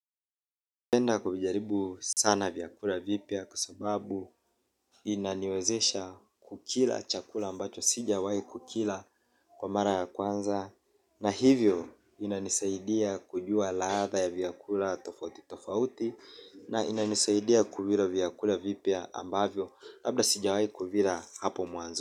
Napenda kuvijaribu sana vyakula vipya kwa sababu inaniwezesha kukila chakula ambacho sijawahi kukila kwa mara ya kwanza. Na hivyo inanisaidia kujua ladha ya vyakula tofauti tofauti na inanisaidia kuvila vyakula vipya ambavyo labda sijawai kuvila hapo mwanzo.